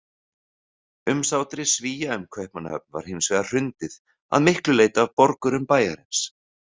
Umsátri Svía um Kaupmannahöfn var hins vegar hrundið, að miklu leyti af borgurum bæjarins.